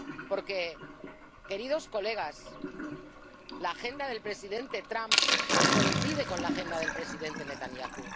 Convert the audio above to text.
Porque, señorías, la agenda del presidente Trump coincide con la agenda del presidente Netanyahu.